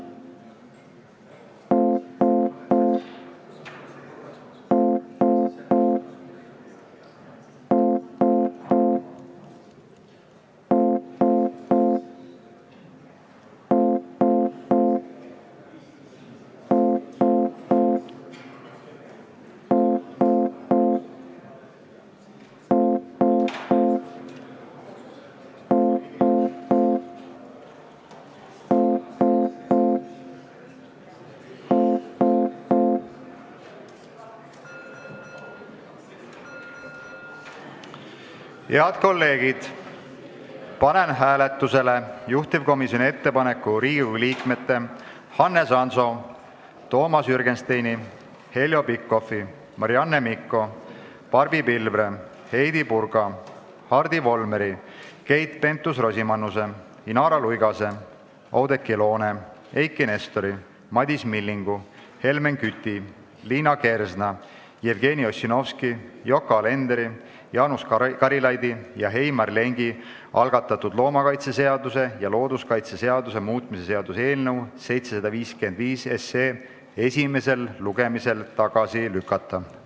Head kolleegid, panen hääletusele juhtivkomisjoni ettepaneku Riigikogu liikmete Hannes Hanso, Toomas Jürgensteini, Heljo Pikhofi, Marianne Mikko, Barbi Pilvre, Heidy Purga, Hardi Volmeri, Keit Pentus-Rosimannuse, Inara Luigase, Oudekki Loone, Eiki Nestori, Madis Millingu, Helmen Küti, Liina Kersna, Jevgeni Ossinovski, Yoko Alenderi, Jaanus Karilaidi ja Heimar Lengi algatatud loomakaitseseaduse ja looduskaitseseaduse muutmise seaduse eelnõu 775 esimesel lugemisel tagasi lükata.